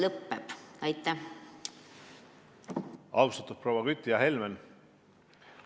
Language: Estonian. Austatud proua Kütt, hea Helmen!